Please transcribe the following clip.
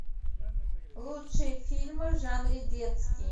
лучшие фильмы в жанре детский